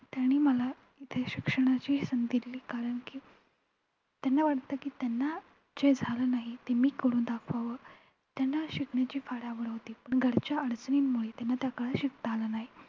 त्यांनी मला इथे शिक्षणाची संधी दिली कारण की त्यांना वाटतं की त्यांना जे झालं नाही, ते मी करून दाखवावं त्यांना शिकण्याची फार आवड होती पण घरच्या अडचणींमुळे त्यांना त्या काळी शिकता आलं नाही.